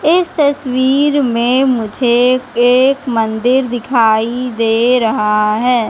इस तस्वीर में मुझे एक मंदिर दिखाई दे रहा है।